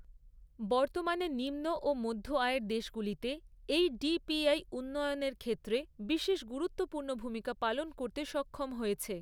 বর্তমানে নিম্ন ও মধ্য আয়ের দেশগুলিতে এই ডিপিআই উন্নয়নের ক্ষেত্রে বিশেষ গুরুত্বপূ্র্ণ ভূমিকা পালন করতে সক্ষম হয়েছে।